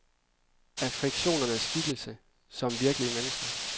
Er fiktionens skikkelser som virkelige mennesker?